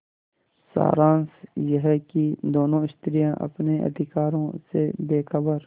सारांश यह कि दोनों स्त्रियॉँ अपने अधिकारों से बेखबर